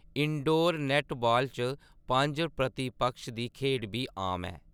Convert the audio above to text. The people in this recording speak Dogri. इनडोर नैट्टबॉल च पंज-प्रति-पक्ष दी खेढ बी आम ऐ।